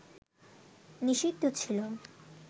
নিষিদ্ধ ছিল